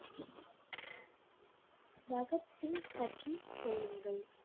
பகத் சிங் பற்றிச் சொல்லுங்கள்.